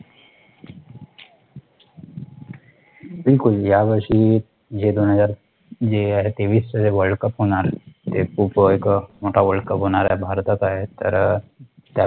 बिलकुल यावर्षी जे दोन हजार जे आहे तेवीस च जे world cup होणार आहे, ते खूप एक मोठं WORLD CUP होणार आहे, भारतात आहे तर